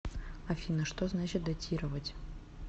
афина что значит дотировать